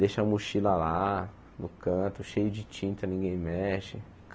Deixa a mochila lá no canto, cheio de tinta, ninguém mexe.